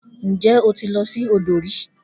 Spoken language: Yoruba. Nje o ti lo si odo ri?